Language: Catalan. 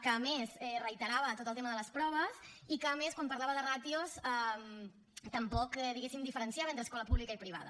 que a més reiterava tot el tema de les proves i que a més quan parlava de ràtios tampoc diguéssim diferenciava entre escola pública i privada